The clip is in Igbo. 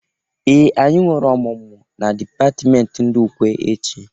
Ee! Anyi nwere ọmụmụ na dịpatimenti ndị ukwe echị.